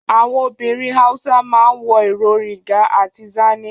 Àwọn obìnrin Hausa ma ń wọ ìró Riga àti Zanne